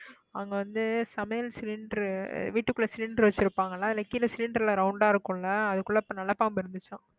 அங்க வந்து சமையல் cylinder வீட்டுக்குள்ள cylinder வச்சிருப்பாங்களா இல்ல கீழே cylinder ல round ஆ இருக்கும் இல்ல அதுக்குள்ள இப்ப நல்ல பாம்பு இருந்துச்சாம்